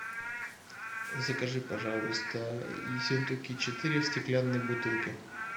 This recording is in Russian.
закажи пожалуйста ессентуки четыре в стеклянной бутылке